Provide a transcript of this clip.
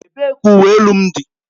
Ebee ka uwe elu m dị?